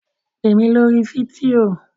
Pè mí lórí fídíò?